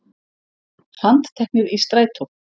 Handteknir í strætó